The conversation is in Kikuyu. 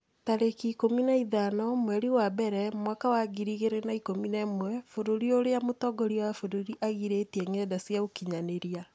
tarĩki ikũmi na ithano mweri wa mbere mwaka wa ngiri igĩrĩ na ikũmi na ĩmwe Bũrũri ũrĩa mũtongoria wa bũrũri aagirĩtie ngenda cia ũkinyanĩria